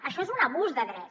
això és un abús de dret